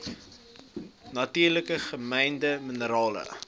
natuurlik gemynde minerale